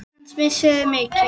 Hans missir er mikill.